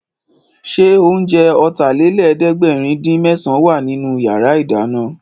Ṣé oúnjẹ Ọ̀tàlélẹ̀ẹ́dẹ́gbẹ̀rin-dín-mésàn wà nínú yàrá ìdáná?